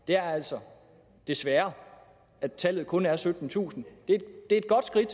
er altså desværre at tallet kun er syttentusind det er et godt skridt